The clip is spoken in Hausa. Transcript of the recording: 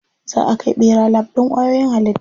Za a kai ɓera lab ɗin kwayoyin halitta.